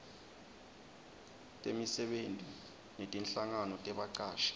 temisebenti netinhlangano tebacashi